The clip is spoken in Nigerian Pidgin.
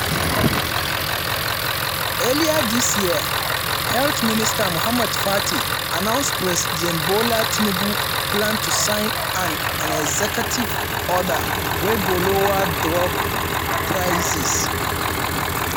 earlier dis year health minister muhammed pate announce president bola tinubu plan to sign an an executive order wey go lower drug prices.